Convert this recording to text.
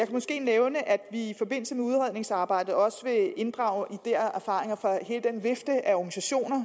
måske nævne at vi i forbindelse med udredningsarbejdet også vil inddrage ideer og erfaringer fra hele den vifte af organisationer